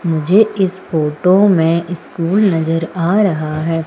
मुझे इस फोटो में इसकूल नजर आ रहा है।